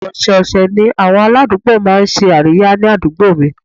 Ọ̀sẹ̀ ọ̀sẹ̀ ni àwọn aládùúgbò máa ń ṣe àríyá ni àdúgbò mi